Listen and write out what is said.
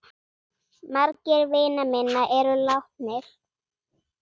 Margir vina minna eru látnir.